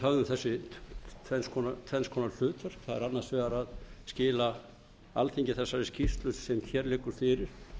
tvenns konar hlutverk það er annars vegar að skila alþingi þessari skýrslu sem hér liggur fyrir